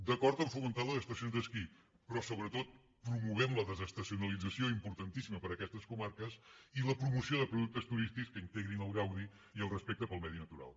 d’acord a fomentar les estacions d’esquí però sobretot promoguem la desestacionalització importantíssima per a aquestes comarques i la promoció de productes turístics que integrin el gaudi i el respecte pel medi natural